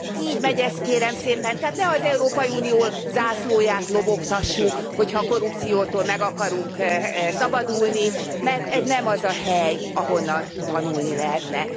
Így megy ez, kérem szépen, tehát ne az Európai Unió zászlóját lobogtassuk, hogyha a korrupciótól meg akarunk szabadulni, mert ez nem az a hely, ahonnan tanulni lehetne.